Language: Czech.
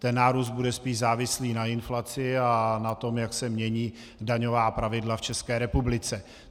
Ten nárůst bude spíš závislý na inflaci a na tom, jak se mění daňová pravidla v České republice.